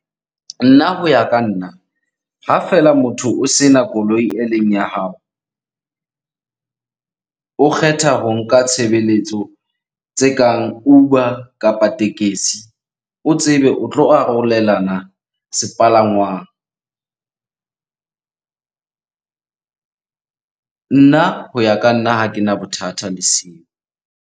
Nna ho ya ka nna, ha feela motho o sena koloi eleng ya hao. O kgetha ho nka tshebeletso tse kang Uber kapa tekesi, o tsebe o tlo arolelana sepalangwang. Nna hoya ka nna, ha kena bothata le seo.